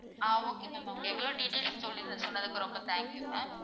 ஆஹ் okay ma'am okay இவ்வளோ details சொல்லி~சொன்னதுக்கு ரொம்ப thank you ma'am